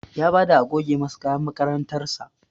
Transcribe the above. Ya bada a goge masa kayan makarantar sa